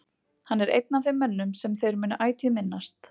Hann er einn af þeim mönnum sem þeir munu ætíð minnast.